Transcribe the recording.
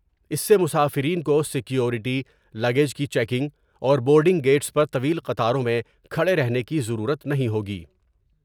اس سے مسافرین کو سیکوریٹی ، لگیج کی چیکنگ اور بورڈ نگ گئٹس پر طویل قطاروں میں کھڑے رہنے کی ضرورت نہیں ہوگی ۔